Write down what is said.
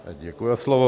Děkuji za slovo.